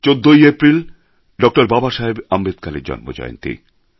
১৪ ই এপ্রিল ড বাবাসাহেব আম্বেদকরের জন্মজয়ন্তী